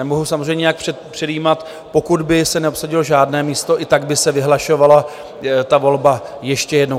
Nemohu samozřejmě nějak předjímat - pokud by se neobsadilo žádné místo, i tak by se vyhlašovala ta volba ještě jednou.